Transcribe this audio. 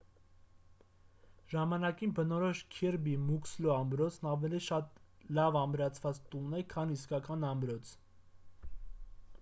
ժամանակին բնորոշ քիրբի մուքսլո ամրոցն ավելի շատ լավ ամրացված տուն է քան իսկական ամրոց